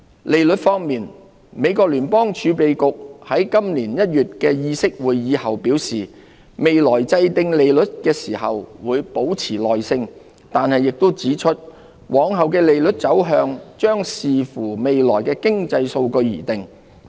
利率方面，美國聯邦儲備局在今年1月的議息會議後表示未來制訂利率時會"保持耐性"，但亦指出往後的利率走向將視乎未來的經濟數據而定。